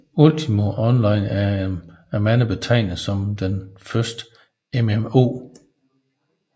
Ultima Online er af mange betegnet som det første MMO